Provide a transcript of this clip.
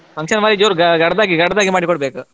Function ಬಾರಿ ಜೋರು ಗಡದ್ದಾಗಿ ಗಡದ್ದಾಗಿ ಮಾಡಿಕೊಡ್ಬೇಕು.